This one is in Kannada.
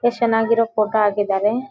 ಎಷ್ಟು ಚೆನ್ನಾಗಿರ ಫೋಟೋ ಹಾಕಿದ್ದಾರೆ.